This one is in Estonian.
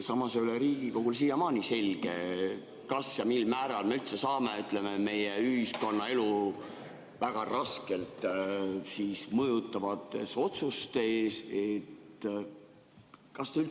Samas ei ole Riigikogule siiamaani selge, kas ja mil määral me üldse saame meie ühiskonnaelu väga raskelt mõjutavates otsustes.